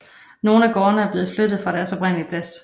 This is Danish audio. Nogle af gårdene er blevet flyttet fra deres oprindelig plads